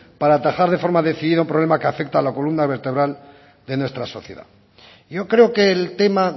para atajar de forma decidida un problema que afecta a la columna vertebral de nuestra sociedad y yo creo que el tema